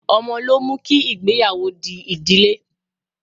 Ọmọ ló mú kí ìgbéyàwó di ìdílé.